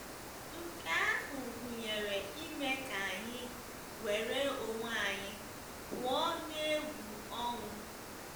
Nke ahụ gụnyere ime ka anyị nwere onwe anyị pụọ n’egwu ọnwụ.